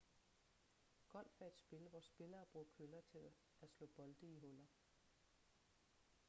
golf er et spil hvor spillere bruger køller til at slå bolde i huller